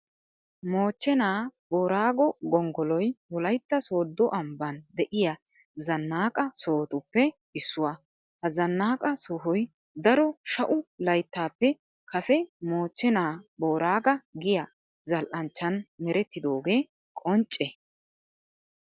Moochchenaa booraagoo gonggoloy wolaytta sooddo ambban de'iya zannaqa sohotuppe issuwa. Ha zannaqa sohoy daro sha'u layttaappe kase moochchenaa booraaga giya zal"anchchan merettidoogee qoncce.